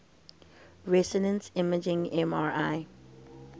resonance imaging mri